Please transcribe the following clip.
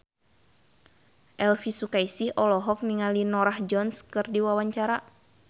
Elvi Sukaesih olohok ningali Norah Jones keur diwawancara